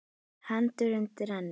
Hendur undir ennið.